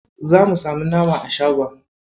Za mu samu nama a shagon.